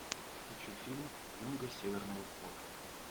хочу фильм юнга северного флота